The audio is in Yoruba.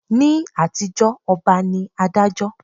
Ni àtijó ọba ní Adájọ́